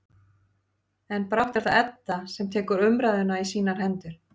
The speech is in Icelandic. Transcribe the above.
En brátt er það Edda sem tekur umræðuna í sínar hendur.